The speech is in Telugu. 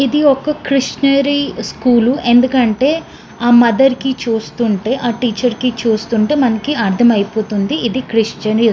ఇది ఒక కృష్ణరి స్కూల్ ఎందుకంటే ఆహ్ మదర్ కి చూస్తుంటే ఆహ్ టీచర్ కి చూస్తుంటే మనకి అర్ధమైపోతుంది ఇది క్రిష్ణరి --